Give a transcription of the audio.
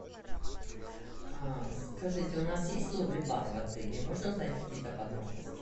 скажите у нас есть лови бар в отеле можно узнать какие то подробности